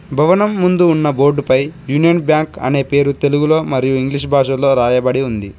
భవనం ముందు ఉన్న బోర్డుపై యూనియన్ బ్యాంక్ అనే పేరు తెలుగులో మరియు ఇంగ్లీష్ భాషల్లో రాయబడి ఉంది.